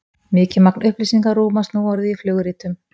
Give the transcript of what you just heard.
Mikið magn upplýsinga rúmast nú orðið í flugritum.